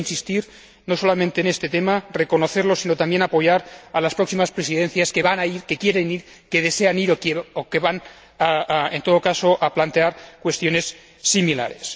Quiero insistir no solamente en este tema, reconocerlo, sino también apoyar a las próximas Presidencias, que van a ir, que quieren ir, que desean ir o que van, en todo caso, a plantear cuestiones similares.